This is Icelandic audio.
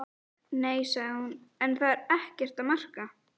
Nei, sagði hún, en það er ekkert að marka.